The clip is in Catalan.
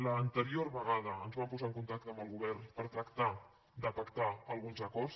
l’anterior vegada ens vam posar en contacte amb el govern per tractar de pactar alguns acords